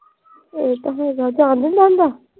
ਇਹ ਤਾਂ ਹੈਗਾ